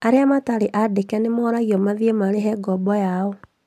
Arĩa matarĩ andĩke nĩmoragio mathiĩ marĩhe ngoombo yao